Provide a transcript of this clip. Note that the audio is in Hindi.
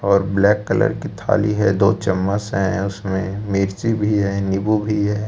और ब्लैक कलर की थाली है दो चम्मच है उसमें मिर्ची भी है नींबू भी है।